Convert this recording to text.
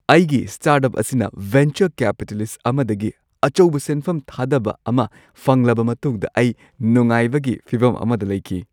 ꯑꯩꯒꯤ ꯁ꯭ꯇꯥꯔꯠꯑꯞ ꯑꯁꯤꯅ venture capitalist ꯑꯃꯗꯒꯤ ꯑꯆꯧꯕ ꯁꯦꯟꯐꯝ ꯊꯥꯗꯕ ꯑꯃ ꯐꯪꯂꯕ ꯃꯇꯨꯡꯗ ꯑꯩ ꯅꯨꯡꯉꯥꯏꯕꯒꯤ ꯐꯤꯚꯝ ꯑꯃꯗ ꯂꯩꯈꯤ ꯫